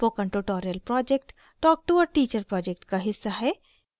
spoken tutorial project talk to a teacher project का हिस्सा है